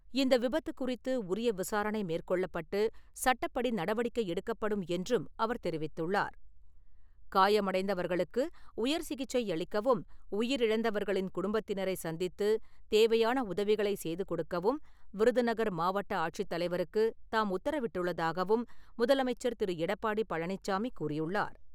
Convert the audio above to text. இந்த விபத்து குறித்து உரிய விசாரணை மேற்கொள்ளப்பட்டு சட்டப்படி நடவடிக்கை எடுக்கப்படும் என்றும் அவர் தெரிவித்துள்ளார். காயமடைந்தவர்களுக்கு உயர் சிகிச்சை அளிக்கவும் உயிரிழந்தவர்களின் குடும்பத்தினரை சந்தித்து தேவையான உதவிகளை செய்து கொடுக்கவும், விருதுநகர் மாவட்ட ஆட்சித் தலைவருக்கு தாம், உத்தரவிட்டுள்ளதாகவும் முதலமைச்சர் திரு. எடப்பாடி பழனிச்சாமி கூறியுள்ளார்.